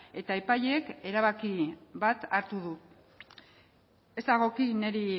eta epaileek erabaki bat hartu dute ez dagoki niri